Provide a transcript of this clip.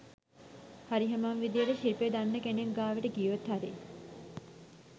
හරිහමං විදිහට ශිල්පෙ දන්න කෙනෙක් ගාවට ගියොත් හරි